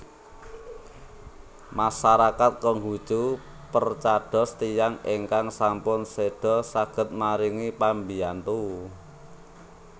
Masarakat Konghuchu percados tiyang ingkang sampun seda saged maringi pambiyantu